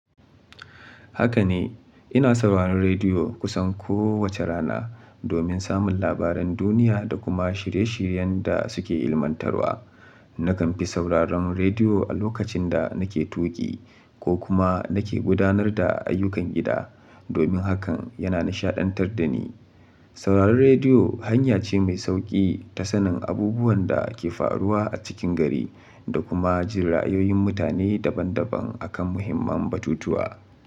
Haka ne, ina sauraron rediyo kusan kowace rana domin samun labaran duniya da kuma shirye-shiryen da suke ilmantarwa. Na kan fi sauraron rediyo a lokacin da nake tuƙi ko kuma nake gudanar da ayyukan gida, domin hakan yana nishaɗantar da ni. Sauraron rediyo hanya ce mai sauƙi ta sanin abubuwan da ke faruwa a cikin gari da kuma jirayoyin mutane daban-daban a kan muhimman batutuwa.